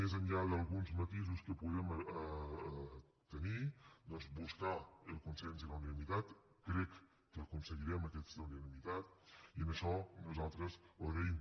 més enllà d’alguns matisos que puguem tenir doncs buscar el consens i la unanimitat crec que aconseguirem aquesta unanimitat i això nosaltres ho agraïm